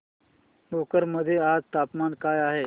भोकर मध्ये आज तापमान काय आहे